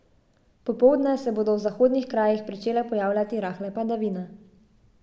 Popoldne se bodo v zahodnih krajih pričele pojavljati rahle padavine.